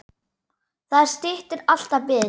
Það styttir alltaf biðina.